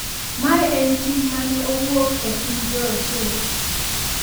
Mae en tim ma ne owuok e piny jorochere.